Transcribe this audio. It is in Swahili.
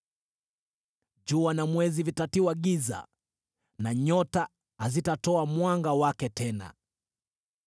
Jua na mwezi vitatiwa giza, na nyota hazitatoa mwanga wake tena.